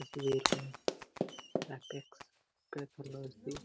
इस तस्वीर में अपेक्स टेक्नोलॉजी --